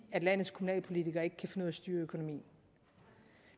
at landets kommunalpolitikere ikke kan finde ud af styre økonomien